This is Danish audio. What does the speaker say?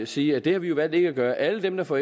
sige at det har vi jo valgt ikke at gøre alle dem der får